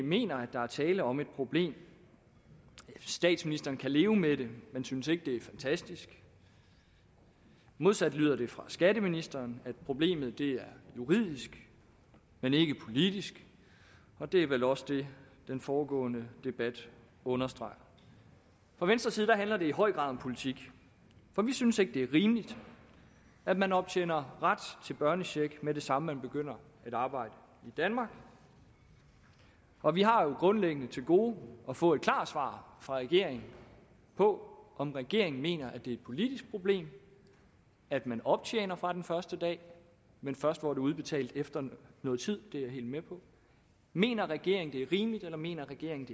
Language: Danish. mener at der er tale om et problem statsministeren kan leve med det man synes ikke det er fantastisk modsat lyder det fra skatteministeren at problemet er juridisk men ikke politisk og det er vel også det den foregående debat understreger fra venstres side handler det i høj grad om politik for vi synes ikke det er rimeligt at man optjener ret til børnecheck med det samme når man begynder arbejde i danmark og vi har jo grundlæggende til gode at få et klart svar fra regeringen på om regeringen mener at det politisk problem at man optjener fra den første dag men først får det udbetalt efter noget tid det sidste er jeg helt med på mener regeringen det er rimeligt eller mener regeringen